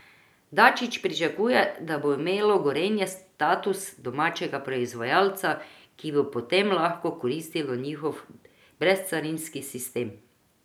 Dačić pričakuje, da bo imelo Gorenje status domačega proizvajalca, ki bi potem lahko koristilo njihov brezcarinski sistem.